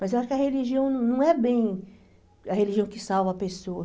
Mas eu acho que a religião não é bem a religião que salva a pessoa.